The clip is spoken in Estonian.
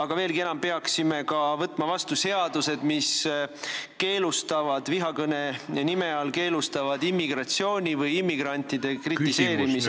Ja veelgi enam: me peaksime ka võtma vastu seadused, mis vihakõne nime all keelustavad immigratsiooni või immigrantide kritiseerimise.